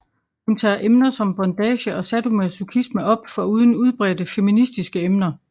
Hun tager emner som bondage og sadomasochisme op foruden udbredte feministiske emner